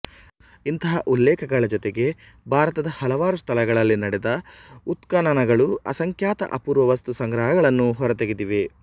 ಇಂಥ ಉಲ್ಲೇಖಗಳ ಜೊತೆಗೆ ಭಾರತದ ಹಲವಾರು ಸ್ಥಳಗಳಲ್ಲಿ ನಡೆದ ಉತ್ಖನನಗಳು ಅಸಂಖ್ಯಾತ ಅಪೂರ್ವ ವಸ್ತುಸಂಗ್ರಹಗಳನ್ನು ಹೊರತೆಗೆದಿವೆ